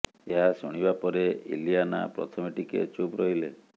ଏହା ଶୁଣିବା ପରେ ଇଲିଆନା ପ୍ରଥମେ ଟିକେ ଚୁପ୍ ରହିଲେ